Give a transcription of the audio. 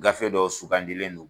Gafe dɔw sugandilen do.